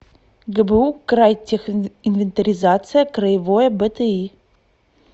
гбу крайтехинвентаризация краевое бти